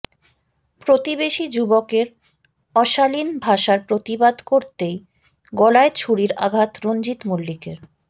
প্রতিবেশী যুবকের অশালীন ভাষার প্রতিবাদ করতেই গলায় ছুরির আঘাত রঞ্জিত মল্লিকের